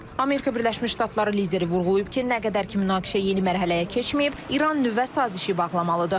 Amerika Birləşmiş Ştatları lideri vurğulayıb ki, nə qədər ki münaqişə yeni mərhələyə keçməyib, İran nüvə sazişi bağlamalıdır.